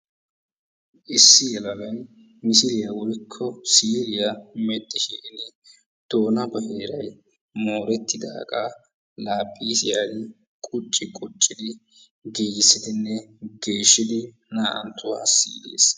issi yelagay misiliyaa woykko siiliyaa medhdhishin doona baggay moorettidaaga laaphphisiyaan qucci quccidi giigissidinne geeshshidi naa''anttuwa siilees.